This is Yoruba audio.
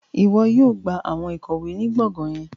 Iwọ yóò gba awọn ikọwe ni gbọngan yẹn